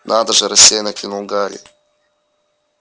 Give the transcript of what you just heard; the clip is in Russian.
надо же рассеянно кинул гарри